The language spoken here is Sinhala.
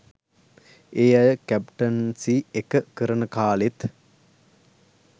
ඒ අය කැප්ටන්සි එක කරන කාලෙත්